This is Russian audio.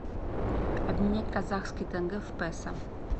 обменять казахский тенге в песо